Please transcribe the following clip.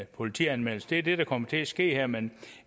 politianmeldelse det er det der kommer til at ske her men